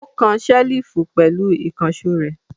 Ó kan ṣẹ́lífù pẹ̀lú ìkànṣó rẹ̀.